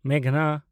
ᱢᱮᱜᱷᱱᱟ